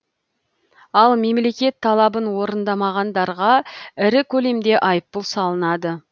ал мемлекет талабын орындамағандарға ірі көлемде айыппұл салынады